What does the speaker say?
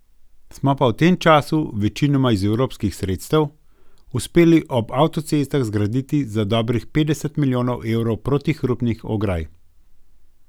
Smo pa v tem času, večinoma iz evropskih sredstev, uspeli ob avtocestah zgraditi za dobrih petdeset milijonov evrov protihrupnih ograj.